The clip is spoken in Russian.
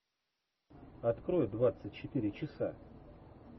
открой двадцать четыре часа